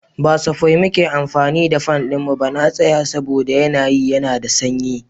Ba safai muke amfani da fan ɗinmu na tsaye saboda yanayi yana da sanyi.